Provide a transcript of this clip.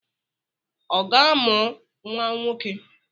Ọ ga-amụ nwa nwoke?